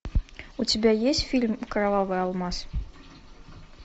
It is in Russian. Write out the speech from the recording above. у тебя есть фильм кровавый алмаз